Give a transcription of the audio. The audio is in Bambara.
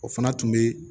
O fana tun bɛ